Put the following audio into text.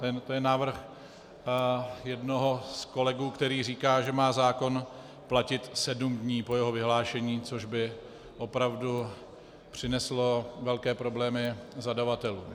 To je návrh jednoho z kolegů, který říká, že má zákon platit sedm dní po jeho vyhlášení, což by opravdu přineslo velké problémy zadavatelům.